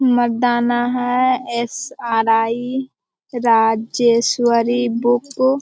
मरदाना है। SRI. Rajeshwari book --